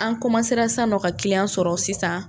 An san nɔ ka kiliyan sɔrɔ sisan